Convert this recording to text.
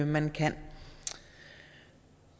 man kan